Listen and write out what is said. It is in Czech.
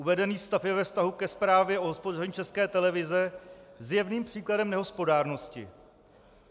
Uvedený stav je ve vztahu ke Zprávě o hospodaření České televize zjevným příkladem nehospodárnosti.